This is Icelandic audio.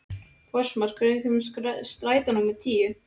Fossmar, hvenær kemur strætó númer tíu?